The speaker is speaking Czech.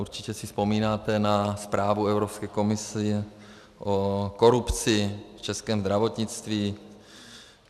Určitě si vzpomínáte na zprávu Evropské komise o korupci v českém zdravotnictví.